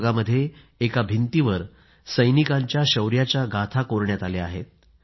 या भागामध्ये एका दीर्घेमध्ये भिंतीवर सैनिकांच्या शौर्याच्या गाथा कोरण्यात आल्या आहेत